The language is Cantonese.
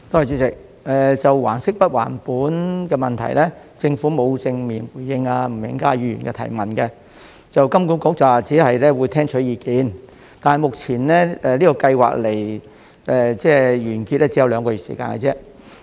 主席，就還息不還本的問題，政府沒有正面回應吳永嘉議員的質詢，金管局只表示會聽取意見，但目前這項計劃距離完結只有兩個月時間而已。